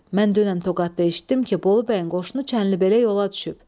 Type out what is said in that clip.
Mən dünən Toqatda eşitdim ki, Bolu bəyin qoşunu Çənlibelə yola düşüb."